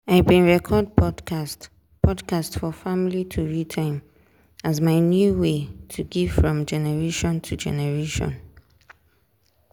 i bin record podcast podcast for family tori time as my new way to give from generation to generation.